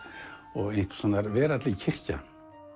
og einhvers konar veraldleg kirkja